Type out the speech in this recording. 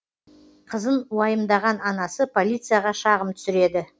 қызын уайымдаған анасы полицияға шағым түсіреді